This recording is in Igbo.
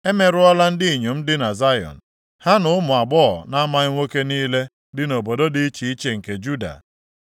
Emerụọla ndị inyom dị na Zayọn, ha na ụmụ agbọghọ na-amaghị nwoke niile dị nʼobodo dị iche iche nke Juda.